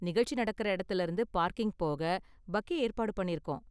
நிகழ்ச்சி நடக்குற இடத்துல இருந்து பார்க்கிங் போக பக்கி ஏற்பாடு பண்ணிருக்கோம்.